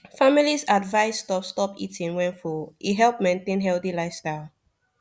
families advised stop stop eating when full e help maintain healthy lifestyle